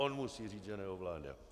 On musí říct, že neovládá.